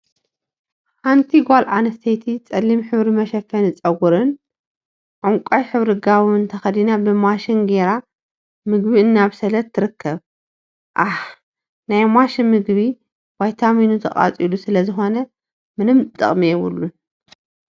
ሓንቲ ጓል አንስተይቲ ፀሊም ሕብሪ መሸፈኒ ፀጉሪን ዕንቋይ ሕብሪ ጋቦን ተከዲና ብማሽን ገይራ ምግቢ እናብሰለት ትርከብ፡፡ ሃሃሃ! ናይ ማሽን ምግቢ ቫይታሚኑ ተቃፂሉ ስለ ዝኮነ ምንም ጥቅሚ የብሉን፡፡